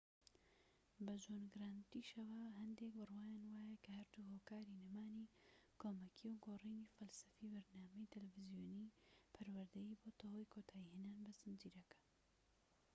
بە جۆن گرانتیشەوە هەندێک بڕوایان وایە کە هەردوو هۆکاری نەمانی کۆمەکیی و گۆڕینی فەلسەفەی بەرنامەی تەلەڤیزۆنیی پەروەردەیی بۆتە هۆی کۆتایی هێنان بە زنجیرەکە